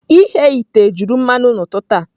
Ighe ite juru mmanụ n'ụtụtụ a.